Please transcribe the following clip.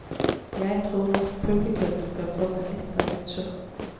Jeg tror norsk publikum skal få seg litt av sjokk.